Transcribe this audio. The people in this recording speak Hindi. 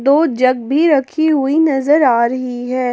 दो जग भी रखी हुई नजर आ रही है।